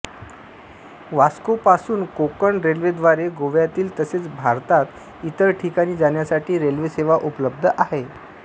वास्कोपासून कोंकण रेल्वेद्वारे गोव्यातील तसेच भारतात इतर ठिकाणी जाण्यासाठी रेल्वेसेवा उपलब्ध आहे